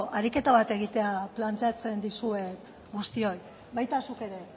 ariketa bat egitea planteatzen dizuet guztioi baita zuk ere